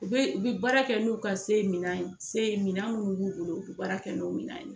U bɛ u bɛ baara kɛ n'u ka se minan se minan mun b'u bolo u bɛ baara kɛ n'u minan ye.